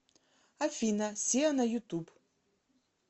афина сиа на ютуб